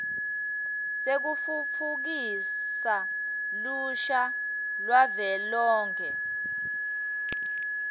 sekutfutfukisa lusha lwavelonkhe